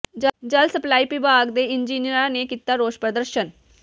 ਜਲ ਸਪਲਾਈ ਵਿਭਾਗ ਦੇ ਇੰਜੀਨੀਅਰਾਂ ਨੇ ਕੀਤਾ ਰੋਸ ਪ੍ਰਦਰਸ਼ਨ